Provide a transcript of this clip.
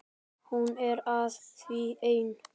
Hún er að því enn!